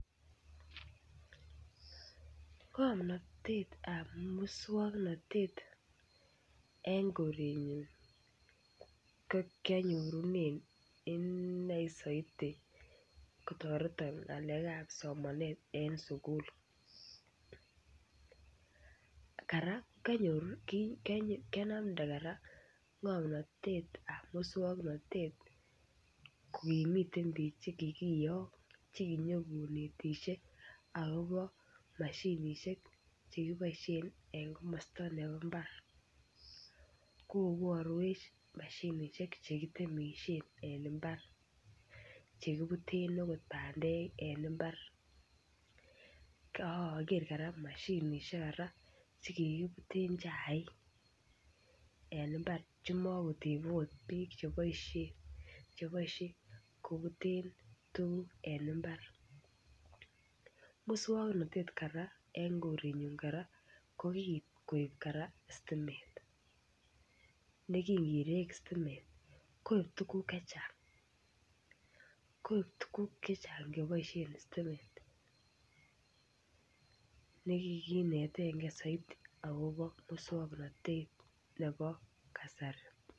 Ng'omnotetab muswoknotet en korenyun kokianyorunen inei saidi kotoreton ng'alekab somanet en sugul, kianamndee kora ng'omnotetab muswoknotet kokimiten biik chekikiyok chekinyon konetisie akopo mashinishek chekiboisien en komosta ne bo mbar, koborwech mashinishek chekitemishen en mbar, chekibuten akot bandek en mbar, akoker kora mashinishek kora chekikibuten chaik en mbar chemokotebe akot beek cheboisien cheboisie kobuten tuguk en mbar, muswoknotet kora en korenyun ko kikoip kora sitimet, nekingirek sitimet koip tuguk chechang koip tuguk chechang cheboisien sitimet nekikinetengee saidi akopo muswoknotet nebo kasari.